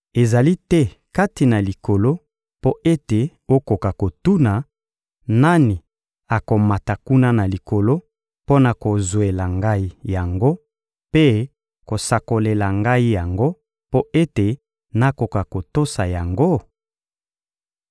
Ezali te kati na Likolo mpo ete okoka kotuna: «Nani akomata kuna na Likolo mpo na kozwela ngai yango mpe kosakolela ngai yango mpo ete nakoka kotosa yango?»